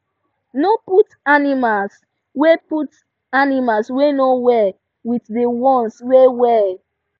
no put animals wey put animals wey no well with de ones wey well